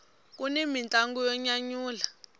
kuni mintlangu yo nyanyula